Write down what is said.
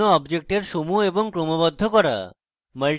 বিভিন্ন অবজেক্টসের সমূহ এবং ক্রমবদ্ধ করা